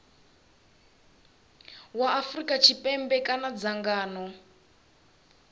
wa afrika tshipembe kana dzangano